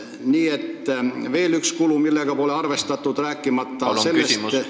See on üks kulu, millega pole arvestatud, rääkimata sellest, et ...